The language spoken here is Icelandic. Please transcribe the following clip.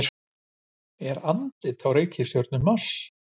Er andlit á reikistjörnunni Mars?